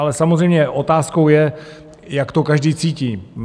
Ale samozřejmě otázkou je, jak to každý cítí.